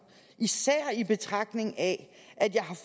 især i betragtning af at jeg